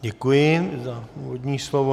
Děkuji za úvodní slovo.